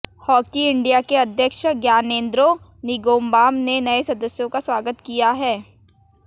hockey India के अध्यक्ष ग्यानेंद्रो निंगोमबाम ने नए सदस्यों का स्वागत किया है